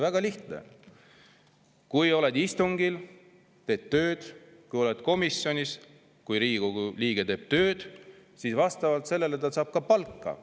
Väga lihtne: kui Riigikogu liige on istungil ja teeb tööd, kui ta on komisjonis ja teeb tööd, siis vastavalt sellele ta saab palka.